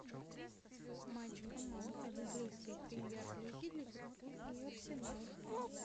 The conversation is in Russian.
матч команд английской премьер лиги ливерпуль и арсенал